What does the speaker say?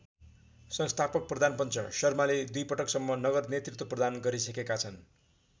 संस्थापक प्रधानपञ्च शर्माले दुई पटकसम्म नगर नेतृत्व प्रदान गरिसकेका छन्।